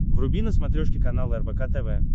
вруби на смотрешке канал рбк тв